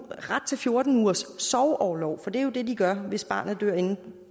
ret til fjorten ugers sorgorlov for det er jo det de gør hvis barnet dør inden